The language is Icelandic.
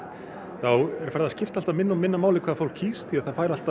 þá er farið að skipta alltaf minna og minna máli hvað fólk kýs því það fær alltaf